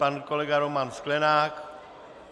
Pan kolega Roman Sklenák.